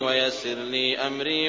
وَيَسِّرْ لِي أَمْرِي